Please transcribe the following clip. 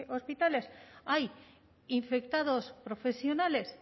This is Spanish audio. hospitales hay infectados profesionales